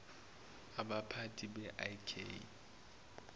abaphathi be ik